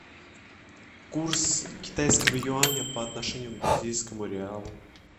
курс китайского юаня по отношению к бразильскому реалу